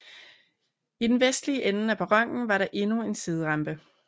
I den vestlige ende af perronen var der endnu en siderampe